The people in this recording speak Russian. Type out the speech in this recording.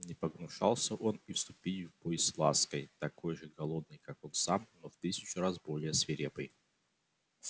не погнушался он и вступить в бой с лаской такой же голодной как он сам но в тысячу раз более свирепой